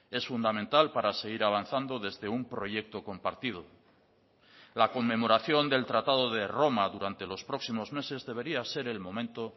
es fundamental para seguir avanzando desde un proyecto compartido la conmemoración del tratado de roma durante los próximos meses debería ser el momento